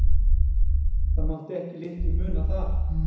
Það mátti ekki litlu muna þar.